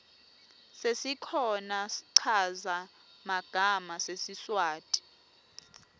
sesikhona schaza magama sesiswati